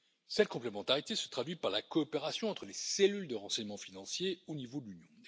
Cette complémentarité se traduit par la coopération entre les cellules de renseignement financier au niveau de l'Union.